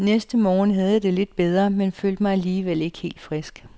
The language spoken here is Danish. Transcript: Næste morgen havde jeg det lidt bedre, men følte mig alligevel ikke helt frisk.